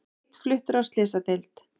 Einn fluttur á slysadeild